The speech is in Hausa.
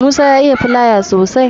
Musa ya iya filayam sosai